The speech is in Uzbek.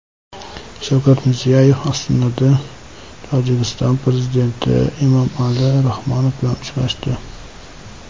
Shavkat Mirziyoyev Ostonada Tojikiston prezidenti Emomali Rahmon bilan uchrashdi.